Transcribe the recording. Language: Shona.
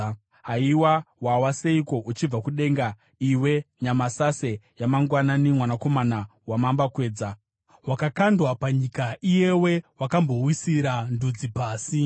Haiwa, wawa seiko, uchibva kudenga, iwe nyamasase yamangwanani, mwanakomana wamambakwedza! Wakakandwa panyika, iyewe wakambowisira ndudzi pasi!